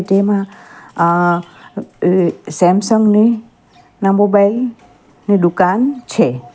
તેમાં આ સેમસંગ ની ન મોબાઈલ ની દુકાન છે.